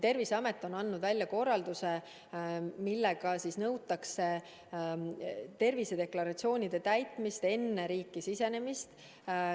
Terviseamet on andnud välja korralduse, millega nõutakse tervisedeklaratsioonide täitmist enne riiki sisenemist.